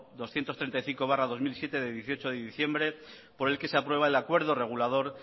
doscientos treinta y cinco barra dos mil siete de dieciocho de diciembre por el que se aprueba el acuerdo regulador